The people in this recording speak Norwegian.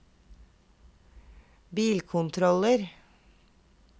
bilkontroller